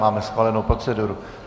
Máme schválenou proceduru.